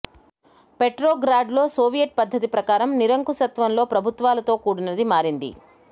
పెట్రోగ్రాడ్లో Soviet పద్ధతి ప్రకారం నిరంకుశత్వం లో ప్రభుత్వాలతో కూడినది మారింది